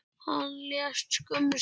Hann lést skömmu síðar.